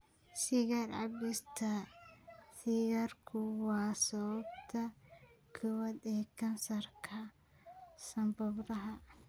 Sigaar cabista sigaarku waa sababta koowaad ee kansarka sanbabada.